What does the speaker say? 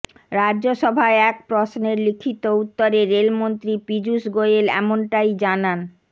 রাজ্যসভায় এক প্রশ্নের লিখিত উত্তরে রেলমন্ত্রী পীযূষ গোয়েল এমনটাই জানান